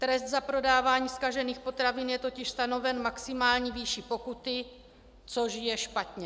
Trest za prodávání zkažených potravin je totiž stanoven maximální výší pokuty, což je špatně.